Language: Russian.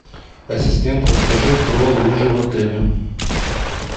ассистент расскажи про лыжи в отеле